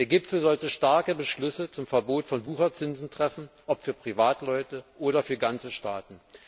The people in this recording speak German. Der Gipfel sollte starke Beschlüsse zum Verbot von Wucherzinsen fassen, ob für Privatleute oder für ganze Staaten.